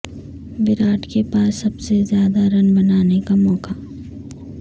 وراٹ کے پاس سب سے زیادہ رن بنانے کا موقع